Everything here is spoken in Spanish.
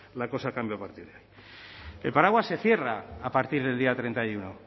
la cosa cambia a partir de el paraguas se cierra a partir del día treinta y uno